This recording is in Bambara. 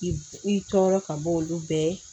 I i tɔɔrɔ ka bɔ olu bɛɛ